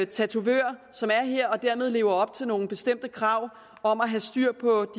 tatovør som er her og som dermed lever op til nogle bestemte krav om at have styr på